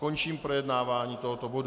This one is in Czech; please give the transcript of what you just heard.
Končím projednávání tohoto bodu.